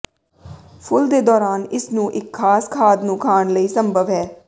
ਫੁੱਲ ਦੇ ਦੌਰਾਨ ਇਸ ਨੂੰ ਇੱਕ ਖਾਸ ਖਾਦ ਨੂੰ ਖਾਣ ਲਈ ਸੰਭਵ ਹੈ